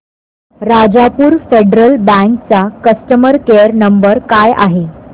राजापूर फेडरल बँक चा customer care number काय आहे